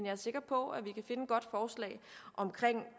er sikker på at vi